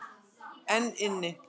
Einn inn.